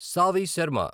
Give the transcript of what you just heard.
Savi Sharma